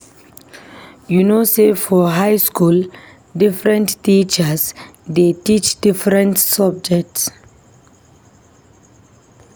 You know sey for high skool, differen teachers dey teach different subject.